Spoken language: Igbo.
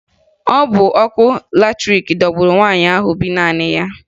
Ọ bụ ọkụ latrịịkị dọgburu nwaanyị ahụ bi naanị ya